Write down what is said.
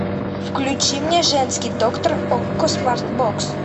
включи мне женский доктор окко смарт бокс